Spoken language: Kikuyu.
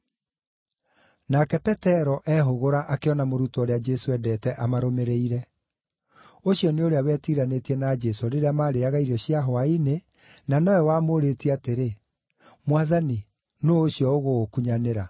Nake Petero eehũgũra akĩona mũrutwo ũrĩa Jesũ endete amarũmĩrĩire. (Ũcio nĩ ũrĩa wetiranĩtie na Jesũ rĩrĩa marĩĩaga irio cia hwaĩ-inĩ, na nowe wamũũrĩtie atĩrĩ, “Mwathani, nũũ ũcio ũgũgũkunyanĩra?”)